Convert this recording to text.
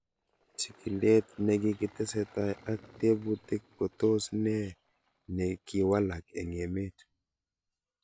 Chig'ilet ne kikitesetai ak tebutik ko tos nee ne kiwalak eng' emet